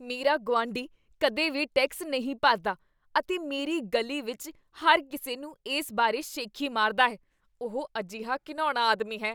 ਮੇਰਾ ਗੁਆਂਢੀ ਕਦੇ ਵੀ ਟੈਕਸ ਨਹੀਂ ਭਰਦਾ ਅਤੇ ਮੇਰੀ ਗਲੀ ਵਿੱਚ ਹਰ ਕਿਸੇ ਨੂੰ ਇਸ ਬਾਰੇ ਸ਼ੇਖੀ ਮਾਰਦਾ ਹੈ। ਉਹ ਅਜਿਹਾ ਘਿਣਾਉਣਾ ਆਦਮੀ ਹੈ।